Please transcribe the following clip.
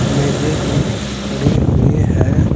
मेज़े भी पड़ी हुई है।